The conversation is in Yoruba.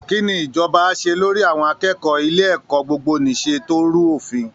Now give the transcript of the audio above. Kí ni ìjọba á ṣe lórí àwọn akẹ́kọ̀ọ́ ilé ẹ̀kọ́ gbogbo-nìṣe tó rú òfin?